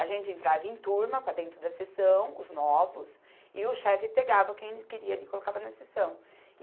A gente entrava em turma para dentro da seção, os novos, e o chefe pegava quem ele queria ali e colocava na seção.